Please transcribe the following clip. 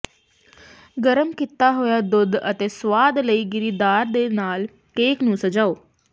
ਗਰਮ ਕੀਤਾ ਹੋਇਆ ਦੁੱਧ ਅਤੇ ਸੁਆਦ ਲਈ ਗਿਰੀਦਾਰ ਦੇ ਨਾਲ ਕੇਕ ਨੂੰ ਸਜਾਓ